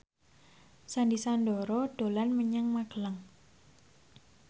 Sandy Sandoro dolan menyang Magelang